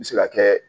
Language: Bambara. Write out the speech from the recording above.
N bɛ se ka kɛ